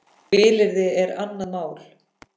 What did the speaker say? Vilyrði er annað mál.